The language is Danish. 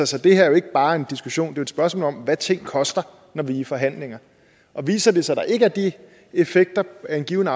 så det her er jo ikke bare en diskussion det er et spørgsmål om hvad ting koster når vi er i forhandlinger viser det sig at der ikke er de effekter af en given